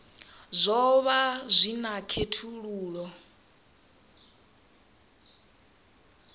zwo vha zwi na khethululoe